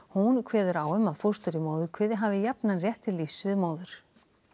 hún kveður á um að fóstur í móðurkviði hafi jafnan rétt til lífs við móður